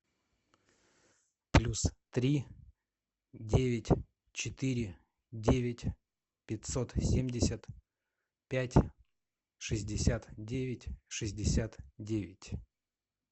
плюс три девять четыре девять пятьсот семьдесят пять шестьдесят девять шестьдесят девять